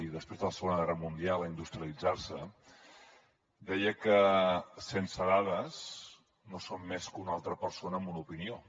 després la segona guerra mundial a industrialitzar se deia que sense dades no som més que una altra persona amb una opinió